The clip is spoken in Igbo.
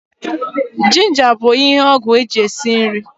Jinja bụ ihe ọgwụ eji esi nri